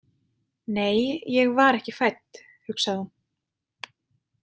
Nei, ég var ekki fædd, hugsaði hún.